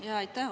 Aitäh!